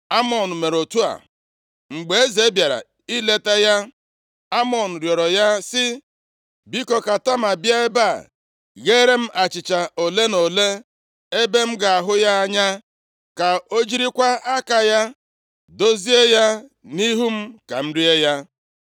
Amnọn mere otu a. Mgbe eze bịara ileta ya, Amnọn rịọrọ ya sị, “Biko, ka Tama bịa ebe a gheere m achịcha ole na ole ebe m ga-ahụ ya anya. Ka o jirikwa aka ya dozie ya nʼihu m ka m rie ya.”